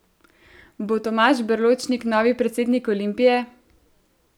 Bo Tomaž Berločnik novi predsednik Olimpije?